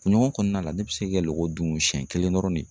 Kunɲɔgɔn kɔnɔna la ne bɛ se ka logo dun siɲɛ kelen dɔrɔn de